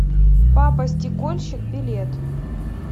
папа стекольщик билет